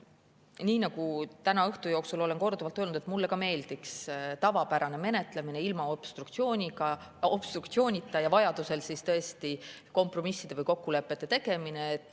Nii nagu täna õhtu jooksul olen korduvalt öelnud, mulle meeldiks samuti tavapärane menetlemine, ilma obstruktsioonita, ja vajaduse korral kompromisside või kokkulepete tegemine.